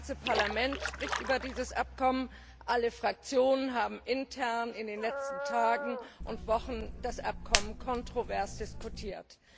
Das ganze Parlament spricht über dieses Abkommen, alle Fraktionen haben intern in den letzten Tagen und Wochen das Abkommen kontrovers diskutiert.